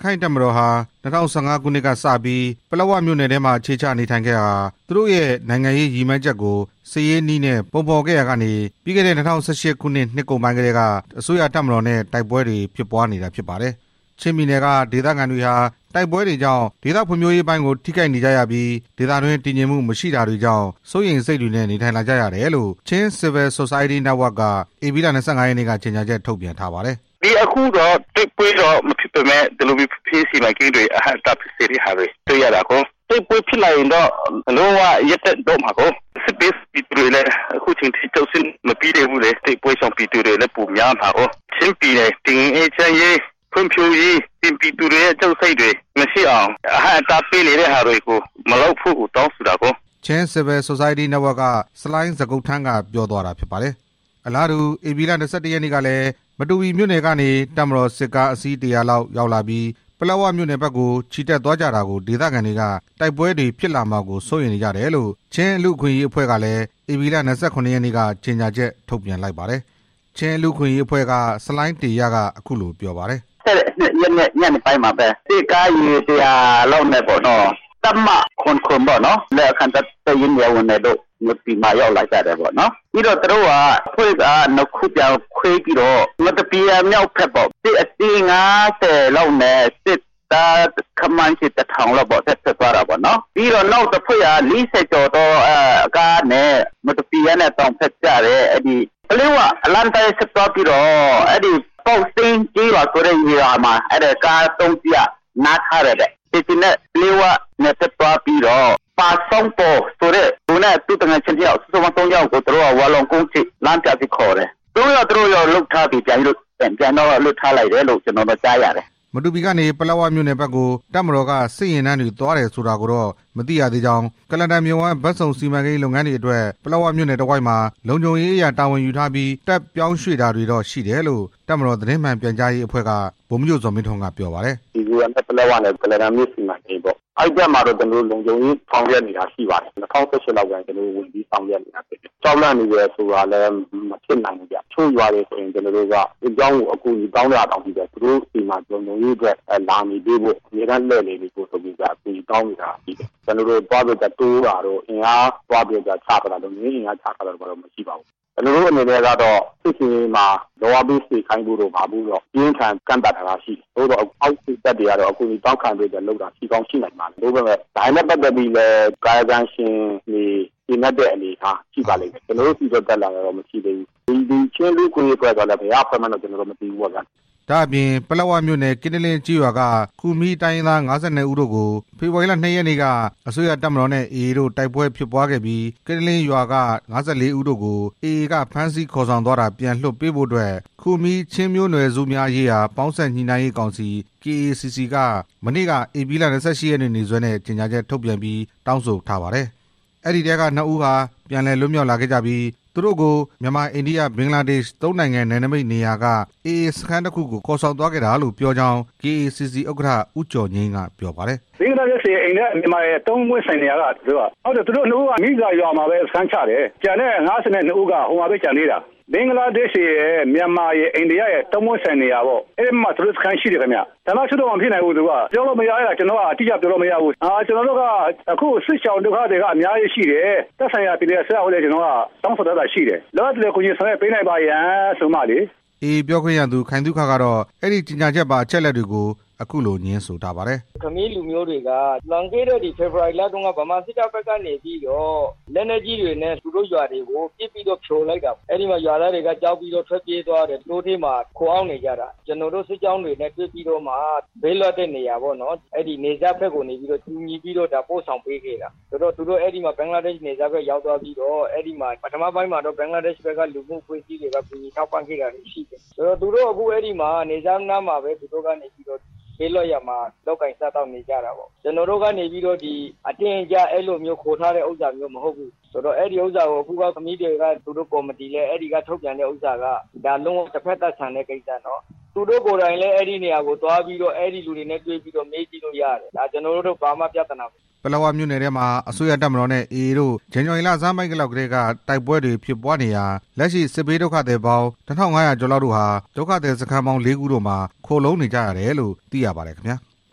ခိုင့်တပ်မတော်ဟာ ၂၀၁၅ ခုနှစ်ကတည်းက ပလက်ဝမြို့နယ်ထဲ အခြေချနေထိုင်ပြီး သူတို့ရဲ့နိုင်ငံရေးရည်မှန်းချက်ကို စစ်ရေးနည်းနဲ့ပုံဖော်နေကြပြီး ဇန်နဝါရီလဆန်းပိုင်းကတည်းက တိုက်ပွဲတွေဖြစ်ပွားနေပါတယ်။ ချင်းပြည်နယ်က ဒေသခံတွေဟာ တိုက်ပွဲတွေကြောင့် ဒေသဖွံ့ဖြိုးရေးပိုင်းကို ထိခိုက်နေကြရပြီး ဒေသ တွင်းတည်ငြိမ်မှုမရှိတာတွေကြောင့် စိုးရိမ်စိတ်တွေနဲ့ နေထိုင်လာကြရတယ်လို့ Chin Civil Society Network က ဧပြီလ ၂၅ ရက်နေ့က ကြေညာချက် ထုတ်ပြန်ထားပါတယ်။ "ဒီအခုတော့ တိုက်ပွဲတော့မဖြစ်ပေမယ့် ဒီလိုမျိုး ဖွံ့ဖြိုးရေးစီမံကိန်းတွေ အဟန့်အတားဖြစ်စေတာကို တွေ့ရတာကို၊ တိုက်ပွဲဖြစ်လာရင်တော့ လုံးဝရပ်တန့်သွားမှာပေါ့၊ စစ်ဘေးရှောင်ပြည်သူတွေလည်း ခု ချိန်ထိ ကြောက်စိတ်တွေ မပြေသေးဘူး၊ တိုက်ပွဲရှောင်ပြည်သူတွေလည်း ပိုများလာတာကို၊ ချင်းပြည် နယ်တည်ငြိမ်အေးချမ်းရေး၊ ဖွံ့ဖြိုးရေး ပြည်သူတွေရဲ့ ကြောက်စိတ်တွေမရှိအောင် အဟန့်အတားပေး နေတဲ့ဟာတွေမလုပ်ဖို့ကို တောင်းဆိုတာကို" Chin Civil Society Network က ဆလိုင်း ဇကုတ်ထန်း က ပြောသွားတာဖြစ်ပါတယ်။ အလားတူ ဧပြီလ ၂၁ ရက်နေ့ကလည်း မတူပီမြို့နယ်ကနေ တပ်မတော်စစ်ကား အစီး ၁၀၀ လောက် ရောက်လာပြီး ပလက်ဝမြို့နယ်ဖက်ကို ချီတက်သွားကြတာကို ဒေသခံတွေက တိုက်ပွဲတွေဖြစ်လာမှာ ကို စိုးရိမ်နေကြတယ်လို့ ချင်းလူ့အခွင့်အရေးအဖွဲ့ကလည်း ဧပြီလ ၂၇ ရက်နေ့က ကြေညာချက်ထုတ် ပြန်ထားပါတယ်။ ချင်းလူ့အခွင့်အရေးအဖွဲ့က ဆလိုင်းတေရ က အခုလိုပြောပါတယ်။ "၂၁ ရက်နေ့ညနေပိုင်းမှာပဲ စစ်ကားရေ တစ်ရာလောက်နဲ့ တပ်မ ၇၇ လက်အောက်ခံတပ်တွေက မတူပီမှာရောက်လာကြတယ်၊ ပြီးတော့ အဖွဲံ့နှစ်ခုခွဲပြီးတော့ မတူပီမြောက်ဖက်ကို စစ်ကားအစီး ၅၀ လောက်နဲ့ စစ်သား တစ်ထောင်လောက်ရှိမယ် တက်သွားကြတာပေါ့နော်၊ နောက် ၄၀ ကျော်ကား တွေနဲ့ မတူပီတောင်ဖက်ကို ပလက်ဝလမ်းအတိုင်းသွားပြီး ပေါက်စိမ်းကျေးရွာမှာ ကား သုံးစီးက နား ထားတယ်တဲ့ ခြေကျင်နဲ့ ပလက်ဝနယ်ဖက်သွားပြီးတော့ ပါဆောင်းပေါ်ဆိုတဲ့သူနဲ့ သူ့ သူငယ်ချင်း နှစ်ယောက် ပေါင်း သုံးယောက်ကို လမ်းပြအဖြစ်နဲ့ ခေါ်သွားတယ်၊ သုံးယောက်စလုံးတော့ ပြန်လွှတ်ထားလိုက်တယ်လို့ သိရတယ်" မတူပီကနေ ပလက်ဝမြို့နယ်ဖက်ကို တပ်မတော်က စစ်ယာဉ်တန်းတွေ သွားတယ်ဆိုတာကိုတော့ မသိရသေးကြောင်း ကုလားတန်မြစ်ဝှမ်း ဘက်စုံစီမံကိန်းလုပ်ငန်းတွေအတွက် ပလက်ဝမြို့နယ် တစ် ဝိုက်မှာ လုံခြုံရေးအရတာဝန်ယူထားပြီး တပ်ပြောင်းရွှေ့တာတွေတော့ရှိတယ်လို့ တပ်မတော် သတင်း မှန်ပြန်ကြားရေးအဖွဲ့က ဗိုလ်မှူးချုပ် ဇော်မင်းထွန်းက ပြောပါတယ်။ "မီဇိုရမ်နဲ့ ပလက်ဝ ကုလားတန်မြစ်စီမံကိန်းပေါ့ ၂၀၁၈ လောက်ကစပြီး ကျွန်တော်တို့ လုံခြုံရေးဆောင် ရွက်နေတာရှိပါတယ်၊ ကြောက်လန့်နေတယ်ဆိုတာ မဖြစ်နိုင်ဘူး၊ တချို့ရွာတွေဆို စစ်ကြောင်းကို သူ တို့ဆီမှာ လုံခြုံရေးဆောင်ရွက်ပေးဖို့ အကူအညီတောင်းနေတာတောင်ရှိတယ်၊ ကျွန်တော်တို့ လုံခြုံရေး အင်အားတိုးတာတို့ သွားချတာတို့တော့ မရှိပါဘူး၊ ကျွန်တော်တို့ဆီမှာတော့ စစ်ဆင်ရေးမှာလုပ်အား ပေးစေခိုင်းတာကိုတော့ အပြင်းအထန် ကန့်သတ်ထားတာရှိတယ်၊ သို့သော် အောက်ခြေတပ်တွေက တော့ရှိကောင်းရှိနိုင်ပါတယ်၊ ဒါတွေနဲ့ပတ်သက်ပြီး ကာယကံရှင်တွေ ကျေနပ်တဲ့အနေအထားရှိပါလိမ့် မယ်၊ ဒီ ချင်းလူ့အခွင့်အရေးအဖွဲ့ဆိုတာလည်း ဘယ်ကအဖွဲ့မှန်းတော့မသိဘူး" ဒါ့အပြင် ပလက်ဝမြို့နယ် ကင်းတလင်းကျေးရွာက ခူမီးတိုင်းရင်းသား ၅၂ ဦးတို့ကို ဖေဖော်ဝါရီလ ၂ ရက်နေ့က အစိုးရတပ်မတော်နဲ့ AA တို့ တိုက်ပွဲဖြစ်ပွားခဲ့ပြီး ကင်းတလင်းရွာက ၅၄ ဦးတို့ကို AA က ဖမ်းဆီးခေါ်ဆောင်သွားတာ ပြန်လွှတ်ပေးဖို့အတွက် ခူမီးချင်းမျိုးနွယ်စုများရေးရာ ပေါင်းစပ်ညှိနှိုင်းရေး ကောင်စီ (KACC) က မနေ့က ဧပြီလ ၂၈ ရက်နေ့စွဲနဲ့ ကြေညာချက်ထုတ်ပြန်ပြီး တောင်းဆိုထားပါ တယ်။ အဲဒီထဲက နှစ်ဦးဟာပြန်လည်လွတ်မြောက်လာခဲ့ပြီး သူတို့ကို မြန်မာ-အိန္ဒိယ-ဘင်္ဂလားဒေ့ရှ် သုံးနိုင်ငံ နယ်နိမိတ်နေရာက AA စခန်းတစ်ခုကို ခေါ်ဆောင်သွားခဲ့တာလို့ ပြောကြောင်း KACC ဥက္ကဋ္ဌ ဦးကျော်ငြိမ်းက ပြောပါတယ်။ "ဘင်္ဂလားဒေ့ရှ်ရယ် အိန္ဒိယရယ် မြန်မာရယ် သုံးပွင့်ဆိုင်နေရာက အဲဒီမှာ သူတို့စခန်းရှိတယ် သူတို့နှစ် ဦးက မီးဇာရွာမှာပဲ စခန်းချတယ်၊ ကျန်တဲ့ ၅၂ ဦးက ဟိုမှာပဲကျန်သေးတာ၊ ဌာနချုပ်တော့ မဖြစ်နိုင်ဘူး ပြောလို့မရဘူး၊ အခုစစ်ရှောင်ဒုက္ခသည်က အများကြီးရှိတယ်၊ သက်ဆိုင်ရာပြည်နယ်အစိုးရကို တောင်း ဆိုတာ လောလောဆယ် ကူညီဆောင်ရွက်ပေးပါရန်ဆိုပြီး" AA ပြောခွင့်ရသူ ခိုင်သုခ ကတော့ အဲဒီကြေညာချက်ပါ အချက်အလက်တွေကို အခုလိုငြင်းဆိုထားပါ တယ်။ "ခူမီးလူမျိုးတွေက လွန်ခဲ့ဲတဲ့ ဖေဖော်ဝါရီလလောက်က သူတို့ရွာတွေကို ဗမာစစ်တပ်က လက်နက်ကြီး တွေနဲ့ ပစ်ပြီးဖြိုလိုက်တာတွေရှိတယ်၊ ရွာသားတွေက ကြောက်ပြီးထွက်ပြေးကာ တောထဲမှာခိုအောင်း နေကြတယ်၊ ကျွန်တော်တို့ စစ်ကြောင်းတွေနဲ့တွေ့ပြီးတော့မှ ဘေးလွတ်တဲ့နေရာပေါ့ နယ်စပ်ဖက်ကို ကူညီပို့ဆောင်ပေးခဲ့တာ၊ ဘင်္ဂလားဒေ့ရှ်နယ်စပ်ဖက်ရောက်ပြီး ပထမပိုင်းမှာ ဘင်္ဂလားဒေ့ရှ်အစိုးရဖက် က ကူညီထောက်ပံ့ခဲ့တာရှိတယ်၊ သူတို့ အခုအဲဒီမှာပဲ လုပ်ကိုင်စားသောက်တာရှိတယ်၊ ကျွန်တော်တို့ က အတင်းအကြပ်ခေါ်ထားတာမဟုတ်ဘူး၊ ခူမီးတွေက သူတို့ကော်မတီက ထုတ်ပြန်တာ လုံးဝတစ် ဖက်သတ်ဆန်တယ်၊ သူတို့လည်းသွားပြီးတော့ သူတို့လူတွေကို မေးကြည့်လို့ရတယ်" ပလက်ဝမြို့နယ်ထဲမှာ အစိုးရတပ်မတော်နဲ့ AA တို့ ဇန်နဝါရီလဆန်းပိုင်းကတည်းက တိုက်ပွဲတွေဖြစ် ပွားနေရာ လက်ရှိ စစ်ဘေးဒုက္ခသည် ၂၀၀၀ ကျော်တို့ဟာ ဒုက္ခသည်စခန်း ၄ ခု တို့မှာ ခိုလှုံနေကြရ တယ်လို့ သိရပါတယ်ခင်ဗျာ။